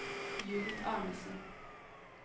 Judith Arnesen